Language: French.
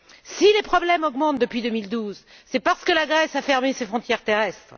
Si les problèmes augmentent depuis 2012, c'est parce que la Grèce a fermé ses frontières terrestres.